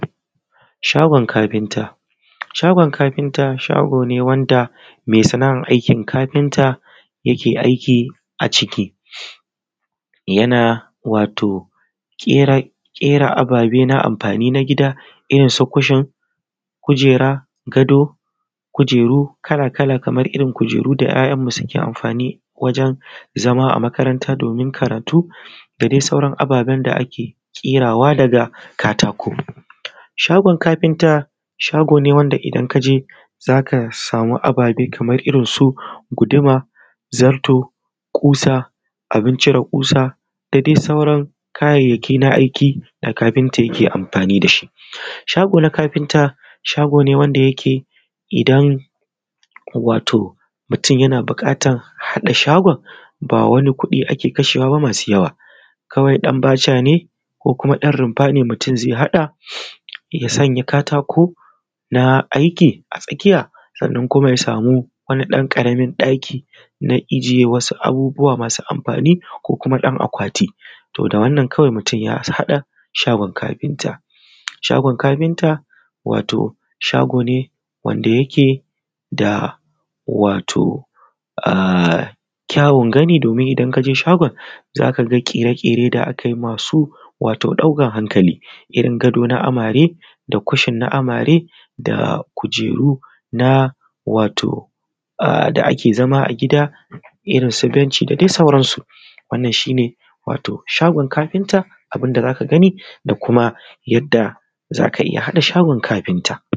Shagon kafinta, shagon kafinta mai sana'ar aikin kafinta ke aiki a ciki, yana wato ƙera abube na amfani na gida irinsu kushin gado, kujeru kala-kala kamar irin kujeru da 'ya'yanmu suke amfani wajen zama a makaranta domin karatu da dai sauran ababen smda ake ƙerawa daga katako. Shagon kafita, shago ne wanda idan ka je za ka sama abubuwa kamar; Kamar irinsu guduma zarto kusa da abin cire ƙusa da sauran kayayyaki na aiki da kafinta yake aiki da shi. Shigon kafinta, shagon ne wanda yake idan wato mutum yana buƙatar haɗa shagon ba wani kuɗi ake kashewa ba masu yawa kawai dan baca ne ko kuma dan rufa ne mutum zai haɗa ya sanya katako na aiki a tsakiya sai kuma ya samu ɗan ƙaramin ɗaki na ajiye abubuwa masu amfani ko kuma ɗan akwati, da wannan mutum ya haɗa shagon kafinta. Shagon kafita, shago ne da yake da wato ƙya uwun gani, za ka ga ƙere-ƙere da aka yi masu ɗaukan hankali irin gado na amare da kushin na amare da kujeru na wato da ake zama a gida na benci da dai sauransu. Wannan shi ne shagon kafinta abun da za ka gani da kuma yadda za ka iya haɗa shagon kafinta.